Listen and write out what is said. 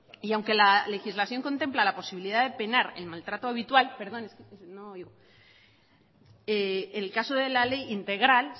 y aunque la legislación contempla la posibilidad de penar el maltrato habitual perdón es que no oigo el caso de la ley integral